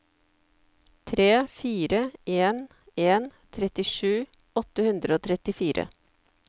tre fire en en trettisju åtte hundre og trettifire